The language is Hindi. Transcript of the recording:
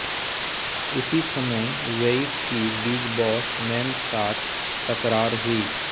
इसी समय वेइट की बिग बॉस मैन साथ तकरार हुई